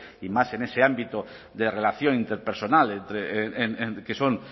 y más en ese ámbito de relación interpersonal que son